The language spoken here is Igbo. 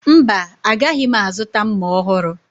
Mba, agaghị m azụta mma ọhụrụ